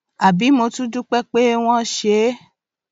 àbí mo tún dúpẹ pé wọn ṣe é